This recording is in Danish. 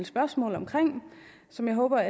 spørgsmål som jeg håber